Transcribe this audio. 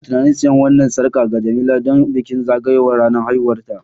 Ina tunanin siyan wannan sarƙa ga Jemila don bikin zagayowar ranar haihuwarta